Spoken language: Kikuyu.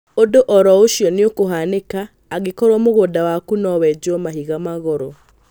Ũndũ oro ũcio nĩũkũhanĩka angĩkorwo mũgũnda waku nowejwo mahiga magoro